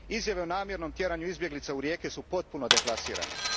Izjave o namjernom tjeranju izbjeglica u rijeke su potpuno deplasirane.